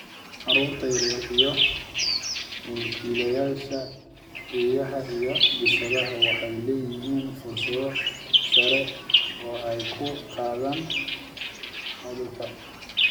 Carruurta yaryar iyo mulkiilayaasha eeyaha iyo bisadaha waxay leeyihiin fursad sare oo ay ku qaadaan cudurka.